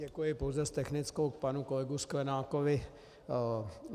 Děkuji, pouze s technickou k panu kolegovi Sklenákovi.